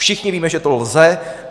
Všichni víme, že to lze.